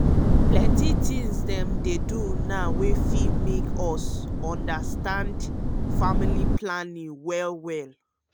plenty thing dem dey now ewey fit help us undastand um familly planning well well.